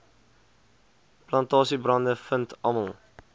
plantasiebrande vind almal